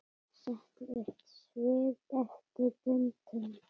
Setur upp svip eftir pöntun.